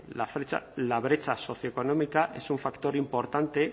la brecha socioeconómica es un factor importante